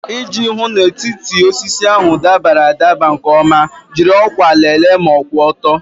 Iji hụ na etiti osisi ahụ dabara adabara nke ọma, jiri ọkwa lelee ma kwụ ọtọ na kwụ ọtọ.